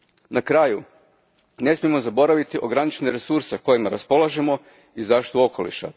Na kraju ne smijemo zaboraviti ograničene resurse kojima raspolažemo i zaštitu okoliša.